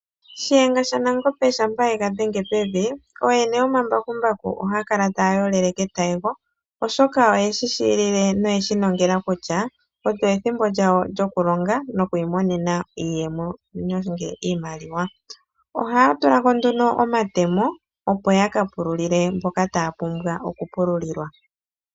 Shiyenga shanagombe shampa ega dhenge pevi, ooyene yomambakumbaku ohaakala ta yolele ketayego, oshoka pethimbo ndika ohaalongo no hayi monene iiyemo. Komambakumbaku oha kutulwa omatemo opo ya ka pululile mboka yahala okupululilwa.